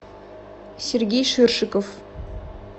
сергей ширшиков